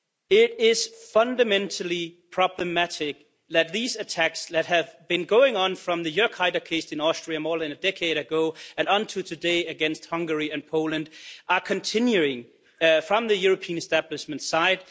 It is fundamentally problematic that these attacks, that have been going on since the Jörg Haider case in Austria more than a decade ago and up to today against Hungary and Poland, are continuing from the European establishment's side.